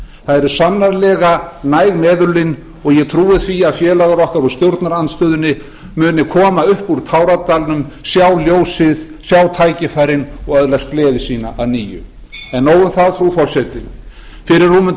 það eru sannarlega næg meðulin og ég trúi því að félagar okkar úr stjórnarandstöðunni muni koma upp úr táradalnum sjá ljósið sjá tækifærin og öðlast gleði sína að nýju en nóg um það frú forseti fyrir rúmum